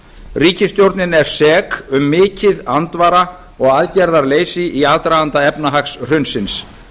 ríkisstjórnin er sek um mikið andvara og aðgerðarleysi í aðdraganda efnahagshrunsins